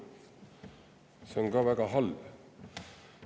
See on väga halb.